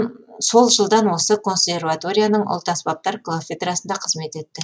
сол жылдан осы консерваторияның ұлт аспаптар кафедрасында қызмет етті